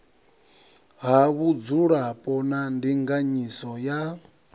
ha vhudzulapo na ndinganyiso ya